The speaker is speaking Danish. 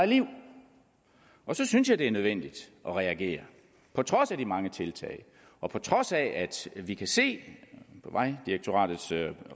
liv så synes jeg det er nødvendigt at reagere på trods af de mange tiltag og på trods af at vi kan se i vejdirektoratets